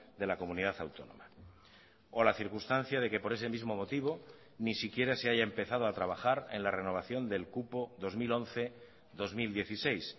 de la comunidad autónoma o la circunstancia de que por ese mismo motivo ni siquiera se haya empezado a trabajar en la renovación del cupo dos mil once dos mil dieciséis